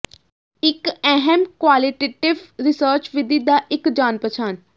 ਇੱਕ ਅਹਿਮ qualitative research ਵਿਧੀ ਦਾ ਇੱਕ ਜਾਣ ਪਛਾਣ